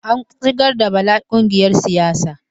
An shigar da Bala ƙungiyar siyasa.